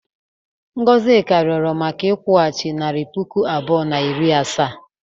Ngozika rịọrọ maka nkwụghachi nari puku abụọ na iri asaa.